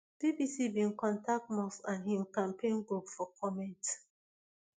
bbc bin contact musk and im campaign group for comment